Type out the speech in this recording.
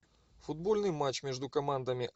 футбольный матч между командами